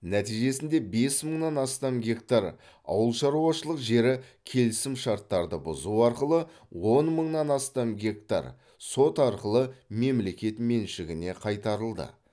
нәтижесінде бес мыңнан астам гектар ауылшаруашылық жері келісімшарттарды бұзу арқылы он мыңнан астам гектар сот арқылы мемлекет меншігіне қайтарылды